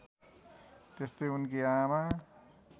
त्यस्तै उनकी आमा